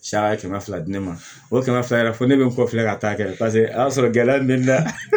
Saya ye kɛmɛ fila di ne ma o kɛmɛ fila yɛrɛ fo ne be n kɔ filɛ ka taa kɛ paseke a y'a sɔrɔ gɛlɛya min bɛ ne la